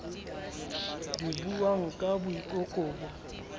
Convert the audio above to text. di buwang ka boikobo bo